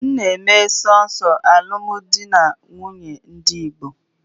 M na-eme sọọsọ alụmdi na nwunye ndị Igbo.